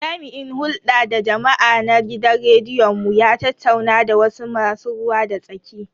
Jami'in hulda da jama'a na gidan rediyon mu ya tattauna da wasu masu ruwa da tsaki.